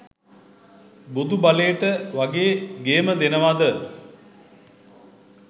බොදු බලේට වගේ ගේම දෙනවද